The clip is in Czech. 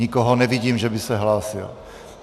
Nikoho nevidím, že by se hlásil.